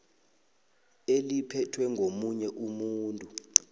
eliphethwe ngomunye umuntu